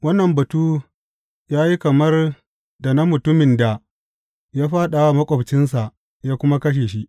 Wannan batu ya yi kamar da na mutumin da ya fāɗa wa maƙwabcinsa ya kuma kashe shi.